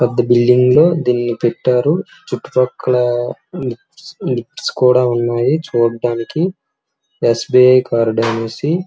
ఇంత పెద్ద బిల్డింగ్ లో దీన్ని కట్టారు. చుట్టుపక్కల లిఫ్ట్ కూడా ఉన్నాయి చూడ్డానికి. ఎస్బిఐ కార్డ్ ఎం వచ్చి--